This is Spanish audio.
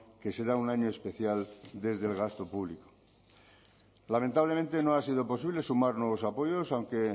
que será un año especial desde el gasto público lamentablemente no ha sido posible sumar nuevos apoyos aunque